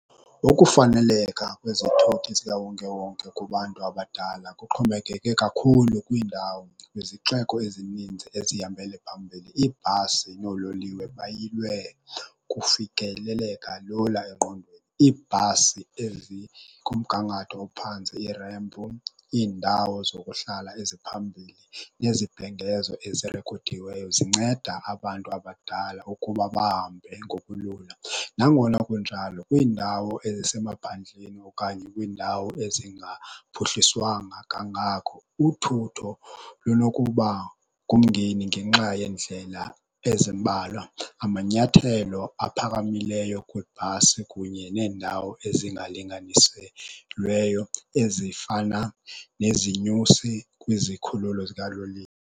Ukufaneleka kwezithuthi zikawonkewonke kubantu abadala, kuxhomekeke kakhulu kwiindawo. Kwizixeko ezininzi ezihambele phambili ibhasi noololiwe bayilwe kufikeleleka lula engqondweni. Ibhasi ezikumgangatho ophantsi, iindawo zokuhlala eziphambili, nezibhengezo ezirikhodiweyo zinceda abantu abadala ukuba bahambe ngokulula. Nangona kunjalo kwiindawo ezisemaphandleni okanye kwindawo ezingaphuhliswanga kangako uthutho lunokuba kumngeni ngenxa yendlela ezimbalwa. Amanyathelo aphakamileyo kwibhasi kunye nendawo ezingalinganisweleyo ezifana nezinyusi kwizikhululo zikaloliwe.